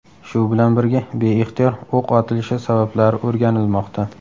Shu bilan birga, beixtiyor o‘q otilishi sabablari o‘rganilmoqda.